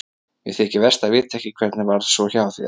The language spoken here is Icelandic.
Mér þykir verst að vita ekki hvernig varð svo hjá þér?